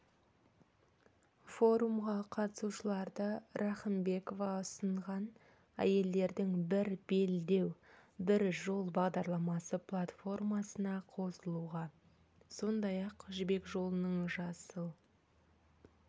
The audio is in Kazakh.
форумға қатысушыларды рахымбекова ұсынған әйелдердің бір белдеу бір жол бағдарламасы платформасына қосылуға сондай-ақ жібек жолының жасыл